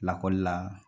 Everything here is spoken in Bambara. Lakɔlila